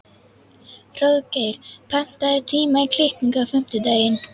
Hróðgeir, pantaðu tíma í klippingu á fimmtudaginn.